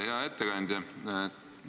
Hea ettekandja!